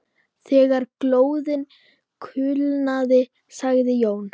Þegar glóðin kulnaði sagði Jón